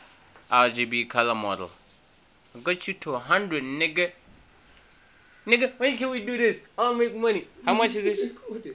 rgb color model